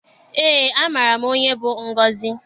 Eé, amaara m onye bụ Ngọzị